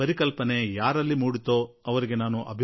ಯಾರಿಗೆ ಕಲ್ಪನೆ ಬಂತೋ ಅವರನ್ನು ಅಭಿನಂದಿಸುವೆ